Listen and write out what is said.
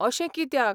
अशें कित्याक?